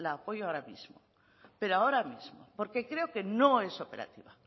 la apoyo ahora mismo pero ahora mismo porque creo que no es operativa